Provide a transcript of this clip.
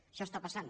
això està passant